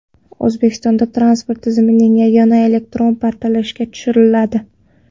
O‘zbekistonda transport tizimining yagona elektron portali ishga tushiriladi.